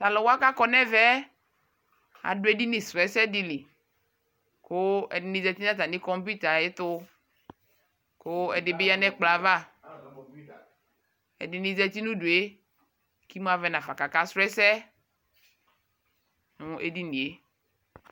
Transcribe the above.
Taluwanii kakɔ nɛmɛɛ adu edini srɔɔ ɛsɛ dili ƶati natami komputer ayɛtu kuu ɛdi bi ya nɛkplɔava ɛdini ƶati nudue kimuavɛ nafa kaka srɔɔ ɛsɛ nu edinie